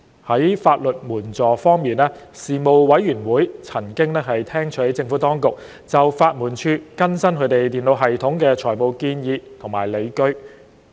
在法律援助方面，事務委員會曾聽取政府當局就法律援助署更新其電腦系統提出的財務建議及理據。